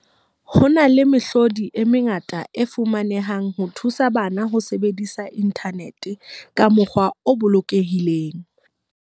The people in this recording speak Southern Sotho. Ho na le mehlodi e mengata e fumanehang ho thusa bana ho sebedisa inthanete ka mokgwa o bolokehileng.